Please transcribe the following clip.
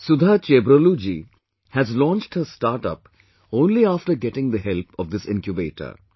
Sudha Chebrolu ji has launched her startup only after getting the help of this Incubator